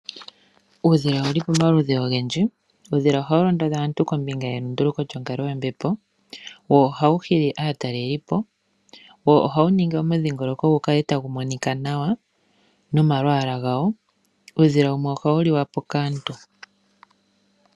Uudhila owuli pomaludhi ogendji. Uudhila ohawu londodha aantu kombinga yelunduluko lyonkalo yombepo wo ohawu hili aatalelipo, wo ohawu ningi omudhingoloko gu kale tagu monika nawa nomalwaala gawo. Uudhila wumwe ohawu liwapo kaantu.